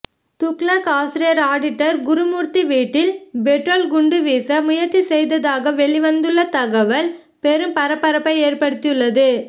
துக்ளக் ஆசிரியர் ஆடிட்டர் குருமூர்த்தி வீட்டில் பெட்ரோல் குண்டு வீச முயற்சி செய்ததாக வெளிவந்துள்ள தகவல் பெரும் பரபரப்பை ஏற்படுத்தியுள்ளது